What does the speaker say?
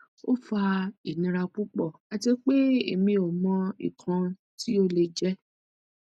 o fa inira pupo ati pe emi o mo ikan ti o le je